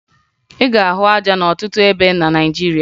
Ị ga-ahụ aja n'ọtụtụ ebe na Naịjirịa